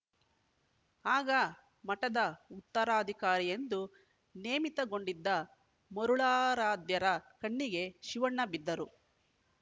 ಆಗ ಮಠದ ಉತ್ತರಾಧಿಕಾರಿಯೆಂದು ನೇಮಿತಗೊಂಡಿದ್ದ ಮರುಳಾರಾಧ್ಯರ ಕಣ್ಣಿಗೆ ಶಿವಣ್ಣ ಬಿದ್ದರು